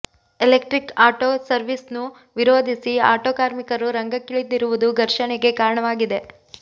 electric auto ಸರ್ವೀಸ್ನ್ನು ವಿರೋಧಿಸಿ auto ಕಾರ್ಮಿಕರು ರಂಗಕ್ಕಿಳಿದಿರುವುದು ಘರ್ಷಣೆಗೆ ಕಾರಣವಾಗಿದೆ